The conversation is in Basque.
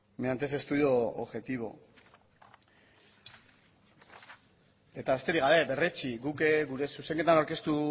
mediante ese estudio objetivo eta besterik gabe berretsi guk gure zuzenketan aurkeztu